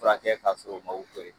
Furakɛ k'a sɔrɔ o ma opere